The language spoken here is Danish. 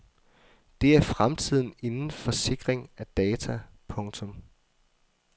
Det er fremtiden inden for sikring af data. punktum